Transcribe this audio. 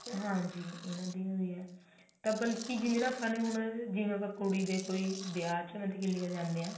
ਹਾਂਜੀ ਇਹਨਾ ਦੀ ਹੋ ਵੀ ਹੈ ਤਾ ਬਲਕਿ ਜਿਵੇਂ ਦਾ ਆਪਾ ਹੁਣ ਜਿਵੇਂ ਆਪਾ ਕੁੜੀ ਦੇ ਕੋਈ ਵਿਆਹ ਵਿੱਚ ਮਤਲਬ